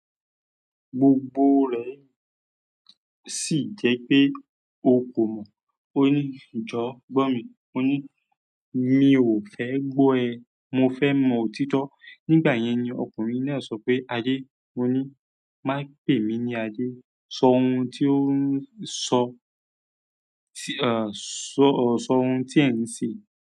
Gbogbo re sí je pe o ko mọ. Ó ní, "Jọ̀ọ́ gbọ́ mi." Ó ní, "Mi ò fẹ́ gbọ́ ẹ. Mofe mo òtítọ́." Nígbà yẹn ni ọkùnrin náà sọ pé, "Adé." Ó ní, "Má pè mí ní Adé. Sọ ohun tí o ń sọ, à, sọ, sọ ohun tí ẹ̀ ń ṣe."